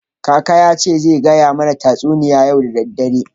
Kaka ya ce zai gaya mana tatsuniya yau da dare.